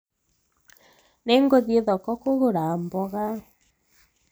nĩnguthie thoko kugura mboga